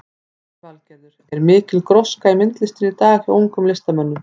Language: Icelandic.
Lillý Valgerður: Er mikil gróska í myndlistinni í dag hjá ungum listamönnum?